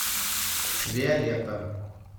виолетта